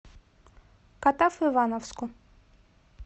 катав ивановску